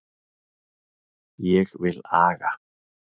Ég vil aga.